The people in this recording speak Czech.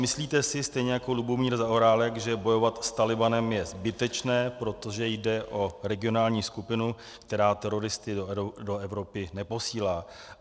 Myslíte si stejně jako Lubomír Zaorálek, že bojovat s Tálibánem je zbytečné, protože jde o regionální skupinu, která teroristy do Evropy neposílá?